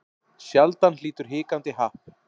Sjaldan hlýtur hikandi happ.